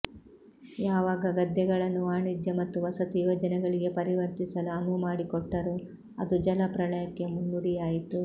ಯಾವಾಗ ಗದ್ದೆಗಳನ್ನು ವಾಣಿಜ್ಯ ಮತ್ತು ವಸತಿ ಯೋಜನೆಗಳಿಗೆ ಪರಿವರ್ತಿಸಲು ಅನುವು ಮಾಡಿಕೊಟ್ಟರೋ ಅದು ಜಲಪ್ರಳಯಕ್ಕೆ ಮುನ್ನುಡಿಯಾಯ್ತು